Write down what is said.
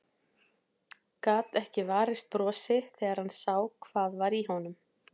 Gat ekki varist brosi þegar hann sá hvað var í honum.